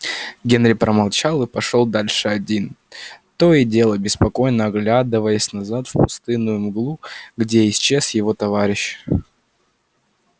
генри промолчал и пошёл дальше один то и дело беспокойно оглядываясь назад в пустынную мглу где исчез его товарищ